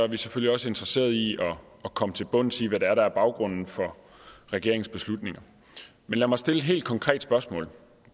vi selvfølgelig også interesserede i at komme til bunds i hvad det er der er baggrunden for regeringens beslutninger men lad mig stille et helt konkret spørgsmål